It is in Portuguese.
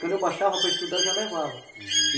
Quando eu baixava para estudar, eu já levava, uhum. E